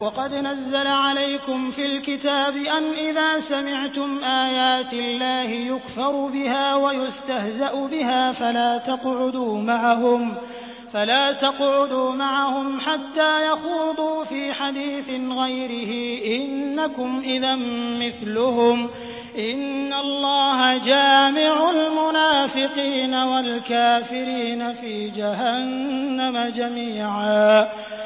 وَقَدْ نَزَّلَ عَلَيْكُمْ فِي الْكِتَابِ أَنْ إِذَا سَمِعْتُمْ آيَاتِ اللَّهِ يُكْفَرُ بِهَا وَيُسْتَهْزَأُ بِهَا فَلَا تَقْعُدُوا مَعَهُمْ حَتَّىٰ يَخُوضُوا فِي حَدِيثٍ غَيْرِهِ ۚ إِنَّكُمْ إِذًا مِّثْلُهُمْ ۗ إِنَّ اللَّهَ جَامِعُ الْمُنَافِقِينَ وَالْكَافِرِينَ فِي جَهَنَّمَ جَمِيعًا